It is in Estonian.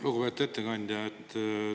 Lugupeetud ettekandja!